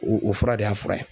O o fura de y'a fura ye.